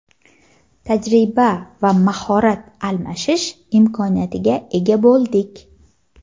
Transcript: tajriba va mahorat almashish imkoniyatiga ega bo‘ldik.